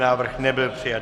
Návrh nebyl přijat.